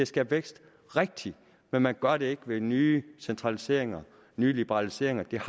skabe vækst rigtigt men man gør det ikke ved nye centraliseringer og nye liberaliseringer det har